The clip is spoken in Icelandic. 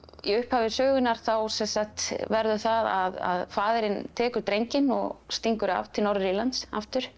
í upphafi sögunnar þá verður það að faðirinn tekur drenginn og stingur af til Norður Írlands aftur